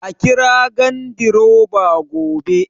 Kira gandiroba gobe